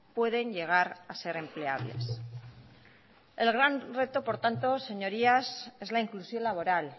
pueden llegar a ser empleables el gran reto por tanto señorías es la inclusión laboral